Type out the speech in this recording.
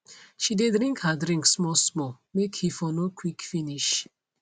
she dey drink her drink small small make he for no quick finish